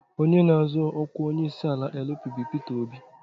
Onye na-azọ ọkwa onyeisiala LP bụ Peter Obi.